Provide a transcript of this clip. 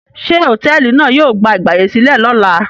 Ṣé hòtẹ́ẹ́lì náà yóò gba ìgbàyèsílẹ̀ lọ́la?